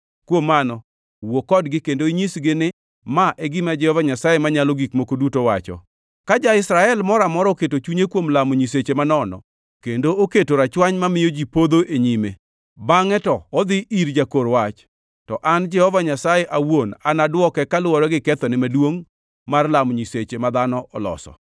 Kuom mano, wuo kodgi kendo inyisgi ni, ‘Ma e gima Jehova Nyasaye Manyalo Gik Moko Duto wacho: Ka ja-Israel moro amora oketo chunye kuom lamo nyiseche manono kendo oketo rachwany mamiyo ji podho e nyime, bangʼe to odhi ir jakor wach, to an Jehova Nyasaye awuon anadwoke kaluwore gi kethone maduongʼ mar lamo nyiseche ma dhano oloso.